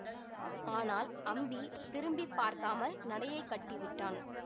ஆனால் அம்பி திரும்பி பார்க்காமல் நடையைக் கட்டிவிட்டான்